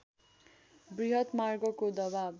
वृहत मार्गको दबाव